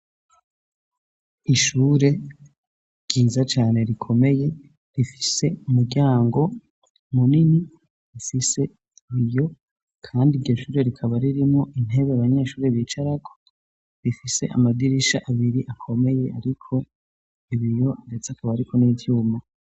Ishure ryiza cane rikomeye rifise umuryango munini rifise ibiyo kandi iryo shure rikaba ririmwo intebe abanyeshure bicarako rifise amadirisha abiri akomeye ariko ibiyo ndetse akaba ariko n’ivyuma.